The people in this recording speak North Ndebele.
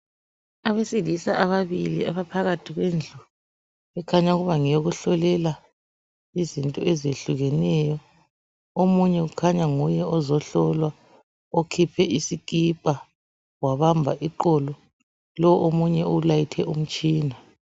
Abesilisa ababili abaphakathi kwendlu ekhanya ukuba ngeyokuhlolela izinto eziyehlukeneyo. Omunye kukhanya nguye ozohlolwa okhiphe isikipa wabamba iqolo lo omunye ulayithe umtshina.